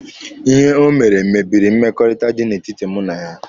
Ihe o mere mebiri mmekọrịta dị na etiti mụ na ya.